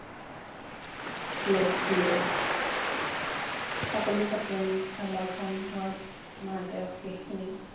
লগ দিয়ে সকলো সপোন সমৰ্থন হোৱাত মাকে অশেষ খিনি লগ দিয়ে